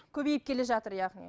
көбейіп келе жатыр яғни